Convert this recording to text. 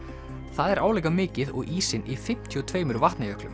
það er álíka mikið og ísinn í fimmtíu og tvö